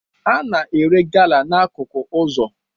A na-ere gala n'akụkụ ụzọ